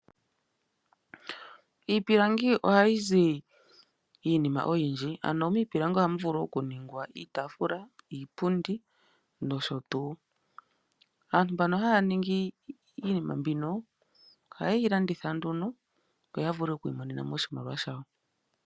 Iipilangi ohayi zi iinima oyindji. Ano miipilangi ohamu vulu okuningwa iipundi, iitaafula, nosho tuu. Aantu mbano haya ningi iinima mbino, ohayeyi landitha nduno, opo yavule okwiimonena oshimaliwa shawo.